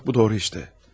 Bax bu doğru işdə.